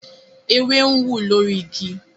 ewé ń wú lórí ìgi